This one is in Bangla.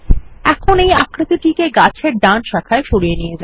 এখন এই আকৃতিটিকে গাছ এর ডান শাখায় সরিয়ে নিয়ে যান